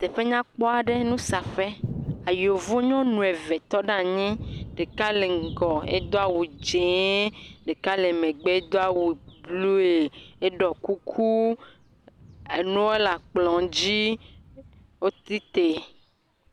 Teƒe nyakpɔ aɖe, nusaƒe, yevu nyɔnu eve, tɔ ɖe anyi, ɖeka ŋgɔ hedo awundzee, ɖeka megbe edo awu blui, eɖɔ kuku, enuo le kplɔ dzi, wotsi tre.